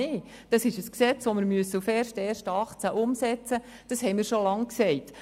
Es ist ein Gesetz, das wir auf den 1. Januar 2018 umsetzen müssen, das haben wir schon lange gesagt.